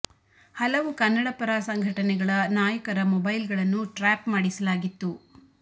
ಹಲವು ಕನ್ನಡ ಪರ ಸಂಘಟನೆಗಳ ನಾಯಕರ ಮೊಬೇಲ್ ಗಳನ್ನು ಟ್ರ್ಯಾಪ್ ಮಾಡಿಸಲಾಗಿತ್ತು